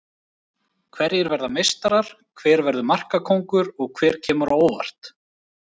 Hverjir verða meistarar, hver verður markakóngur og hver kemur á óvart?